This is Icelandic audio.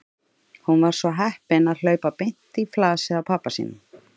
Hún var svo heppin að hlaupa beint í flasið á pabba sínum.